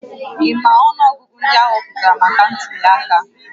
Ị ma ọnụọgụgụ ndị a họpụtara maka ntuliaka?